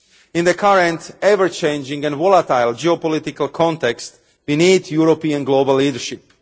In the current, ever changing and volatile geopolitical context, we need European global leadership.